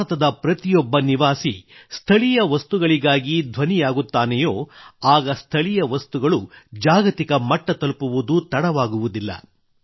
ಭಾರತದ ಪ್ರತಿಯೊಬ್ಬ ನಿವಾಸಿ ಸ್ಥಳೀಯ ವಸ್ತುಗಳಿಗಾಗಿ ಧ್ವನಿಯಾಗುತ್ತಾನೆಯೋ ಆಗ ಸ್ಥಳೀಯ ವಸ್ತುಗಳು ಜಾಗತಿಕ ಮಟ್ಟ ತಲುಪುವುದು ತಡವಾಗುವುದಿಲ್ಲ